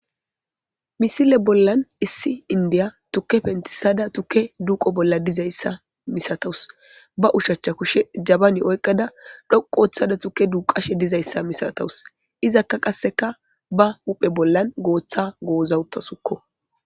misile bollan issi indiya tukke pentisada tukke duuqo bolla dizayssa misatawus ba ushacha kushe jabani oyqqada dhoqooththada tukke duqashe dizayssa misatawus izakka qasseka ba huphe bollan gooththa goozawuttasukko